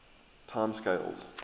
time scales